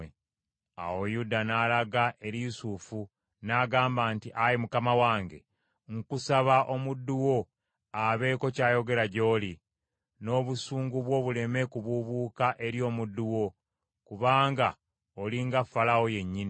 Awo Yuda n’alaga eri Yusufu n’agamba nti, “Ayi mukama wange nkusaba omuddu wo abeeko kyayogera gy’oli, n’obusungu bwo buleme kubuubuuka eri omuddu wo; kubanga oli nga Falaawo yennyini.